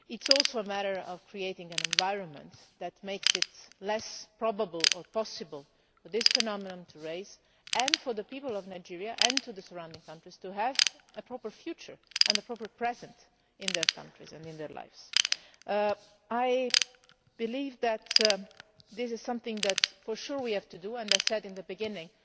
It is also a matter of creating an environment which makes it less probable or possible for this phenomenon to arise, so that the people of Nigeria and the surrounding countries have a proper future and a proper present in their countries and in their lives. I believe that this is something that, for sure, we have to do. I said at the beginning